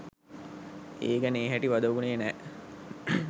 ඒ ගැන ඒ හැටි වද වුණේ නෑ.